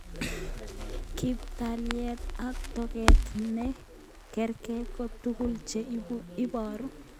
Kiptaleit ak toket ne karkei ko tuguk che iboru